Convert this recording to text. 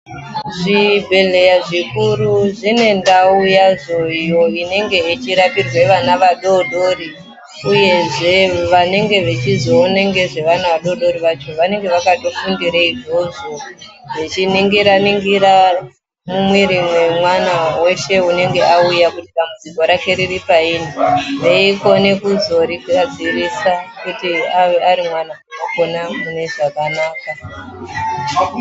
Zvibhehleya zvikuru zvine ndau yadzo iyo inenge yechirapirwe vana vadodori uyezve vanenge vechizoone ngezvevana vadodori vacho vanenge vakatofundire izvozvo, vechiningira ningira mumwiri mwemwana weshe unenge auya kuti dambudziko rake riri payini, veikone kuzorigadzirisa kuti ari mwana akure mune zvakanaka .